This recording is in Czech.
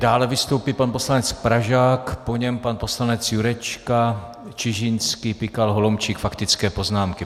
Dále vystoupí pan poslanec Pražák, po něm pan poslanec Jurečka, Čižinský, Pikal, Holomčík, faktické poznámky.